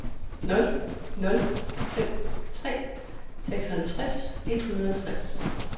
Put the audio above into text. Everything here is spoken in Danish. nul nul fem tre seksoghalvtreds et hundrede og enogtres